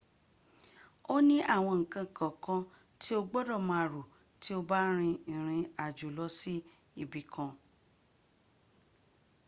ó ní àwọn nǹkan kọ̀ọ̀kan tí o gbọdọ̀ máa rò tí o bá rin ìrìn àjo lọ ibì ka